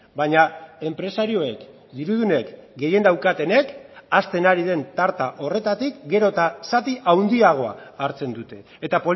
baina enpresarioek dirudunek gehien daukatenek hasten ari den tarta horretatik gero eta zati handiagoa hartzen dute eta